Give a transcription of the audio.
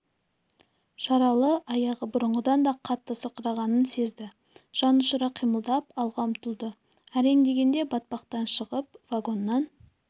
жаралы аяғы бұрынғыдан да қатты сырқырағанын сезді жанұшыра қимылдап алға ұмтылды әрең дегенде батпақтан шығып вагоннан